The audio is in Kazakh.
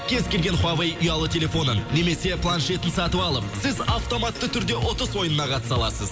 кез келген хуавэй ұялы телефонын немесе планшетін сатып алып сіз автоматты түрде ұтыс ойынына қатыса аласыз